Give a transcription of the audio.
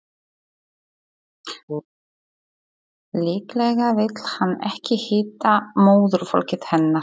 Líklega vill hann ekki hitta móðurfólkið hennar.